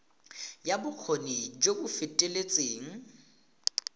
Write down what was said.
ya bokgoni jo bo feteletseng